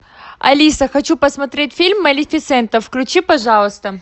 алиса хочу посмотреть фильм малефисента включи пожалуйста